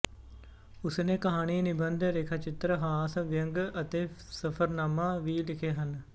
ਉਸ ਨੇ ਕਹਾਣੀ ਨਿਬੰਧ ਰੇਖਾਚਿੱਤਰ ਹਾਸ ਵਿਅੰਗ ਅਤੇ ਸਫ਼ਰਨਾਮਾ ਵੀ ਲਿਖੇ ਹਨ